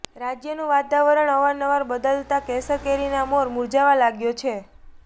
રાજ્યનું વાતાવરણ અવાર નવાર બદલાતા કેસર કેરીના મોર મુરઝાવા લાગ્યો છે